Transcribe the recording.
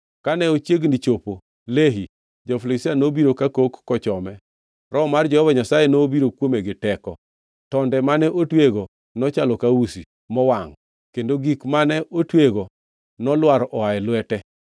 Kane ochiegni chopo Lehi, jo-Filistia nobiro kakok kochome. Roho mar Jehova Nyasaye nobiro kuome gi teko. Tonde mane otweyego nochalo ka usi mowangʼ, kendo gik mane otweyego nolwar oa e lwete.